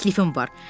Təklifim var.